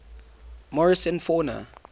morrison fauna